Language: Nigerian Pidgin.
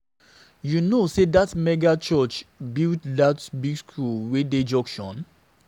You know sey dat mega church build dat big skool wey dey junction?